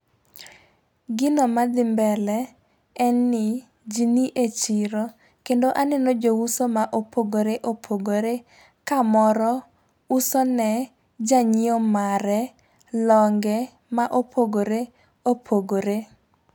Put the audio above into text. Gino madhi mbele, en ni , ji ni e chiro, kendo aneno jouso mopogoreopogore ka moro ,usone janyiewo mare longe ma opogoreopogore.